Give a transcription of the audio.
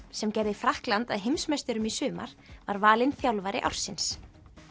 sem gerði Frakkland að heimsmeisturum í sumar var valinn þjálfari ársins